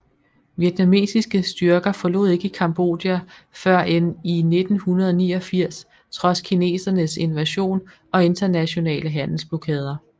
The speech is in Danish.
Vietnamesiske styrker forlod ikke Cambodja før end i 1989 trods kinesernes invasion og internationale handelsblokader